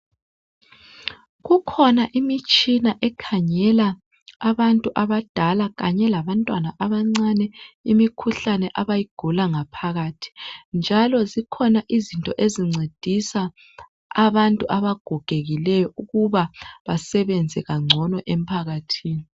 Kukhona imitshina ekhangela abantu abadala kanye labantwana abancane imikhuhlane imikhuhlane abayigula ngaphakathi njalo zikhona izinto ezincedisa abantu abagogekileyo ukuba basebenze kangcono emphakathini.